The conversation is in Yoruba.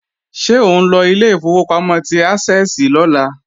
Ṣé ò ńlọ ilé ìfowópamọ́ ti Ásẹ́ẹ̀sì lọ́la